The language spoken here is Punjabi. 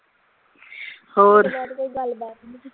ਉਹ ਨਾਲ ਕੋਈ ਗੱਲ ਬਾਤ ਵੀ ਨਹੀਂ ਕੀਤੀ